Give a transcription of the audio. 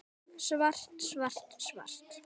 Svart, svart, svart.